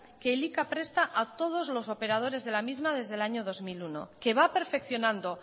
que elika presta a todos los operadores de la misma desde el año dos mil uno que va perfeccionando